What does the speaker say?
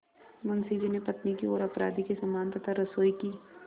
मुंशी जी ने पत्नी की ओर अपराधी के समान तथा रसोई की